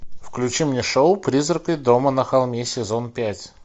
включи мне шоу призраки дома на холме сезон пять